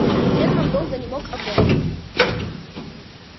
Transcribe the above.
германн долго не мог опомниться